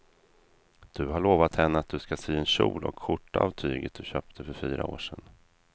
Du har lovat henne att du ska sy en kjol och skjorta av tyget du köpte för fyra år sedan.